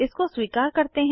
इसको स्वीकार करते हैं